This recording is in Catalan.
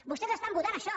vostès estan votant això